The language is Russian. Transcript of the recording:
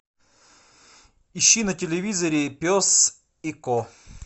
ищи на телевизоре пес и ко